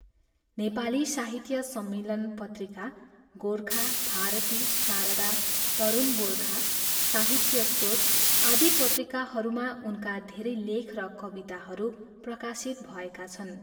नेपाली साहित्य सम्मेलन पत्रिका, गोर्खा, भारती, शारदा, तरूण गोर्खा, साहित्य स्रोत आदि पत्रिकाहरूमा उनका धेरै लेख र कविताहरू प्रकाशित भएका छन्।